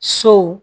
Sow